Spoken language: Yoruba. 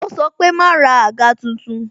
Ó sọ pé "ma ra àga tuntun"